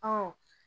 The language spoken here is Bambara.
Ɔ